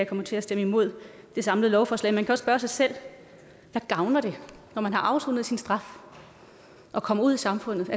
kommer til at stemme imod det samlede lovforslag man kan også spørge sig selv hvad gavner det når man har afsonet sin straf og kommer ud i samfundet